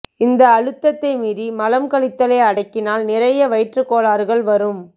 இந்த அழுத்தத்தை மீறி மலம் கழித்தலை அடக்கினால் நிறைய வயிற்று கோளாறுகள் வரும்